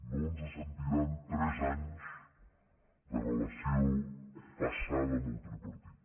no ens sentiran tres anys de relació passada amb el tripartit